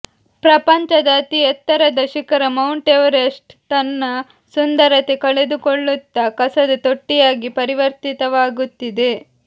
ಪ್ರಪಂಚದ ಅತಿ ಎತ್ತರದ ಶಿಖರ ಮೌಂಟ್ ಎವರೆಸ್ಟ್ ತನ್ನ ಸುಂದರತೆ ಕಳೆದುಕೊಳ್ಳುತ್ತಾ ಕಸದ ತೊಟ್ಟಿಯಾಗಿ ಪರಿವರ್ತಿತವಾಗುತ್ತಿದೆ